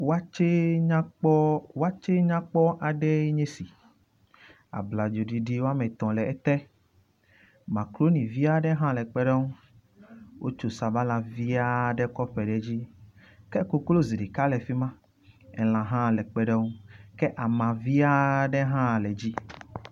wɔtsɛ nyakpɔ aɖe nye si abladzo ɖiɖi wɔmetɔ̃ le ete makroni viaɖe hã le kpeɖeŋu wótso sabala viaɖe kɔ ƒo ɖe dzi ke koklozi ɖeka le fima elã hã kpeɖeŋu ke ama vi aɖe hã le dzi